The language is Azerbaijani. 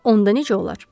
Onda necə olar?